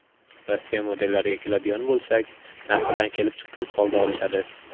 Rossiya modellariga keladigan bo‘lsak, narxidan kelib chiqqan holda olishadi.